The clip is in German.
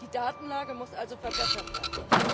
Die Datenlage muss also verbessert werden.